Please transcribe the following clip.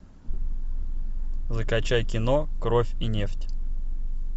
закачай кино кровь и нефть